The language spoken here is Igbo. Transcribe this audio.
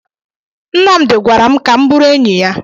Nnamdi gwara m ka m bụrụ enyi ya.